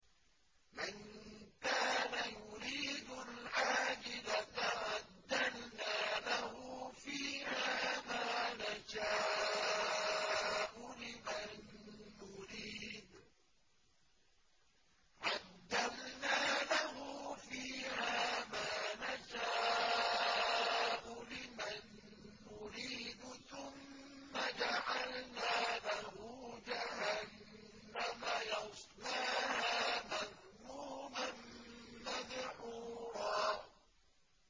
مَّن كَانَ يُرِيدُ الْعَاجِلَةَ عَجَّلْنَا لَهُ فِيهَا مَا نَشَاءُ لِمَن نُّرِيدُ ثُمَّ جَعَلْنَا لَهُ جَهَنَّمَ يَصْلَاهَا مَذْمُومًا مَّدْحُورًا